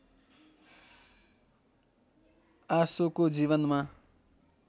आशोको जीवनमा